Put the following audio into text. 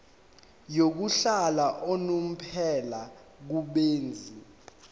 yokuhlala unomphela kubenzi